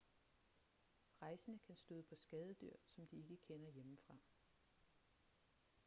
rejsende kan støde på skadedyr som de ikke kender hjemmefra